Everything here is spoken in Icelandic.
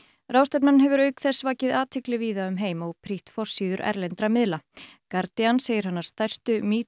ráðstefnan hefur auk þess vakið athygli víða um heim og prýtt forsíður erlendra miðla Guardian segir hana stærstu metoo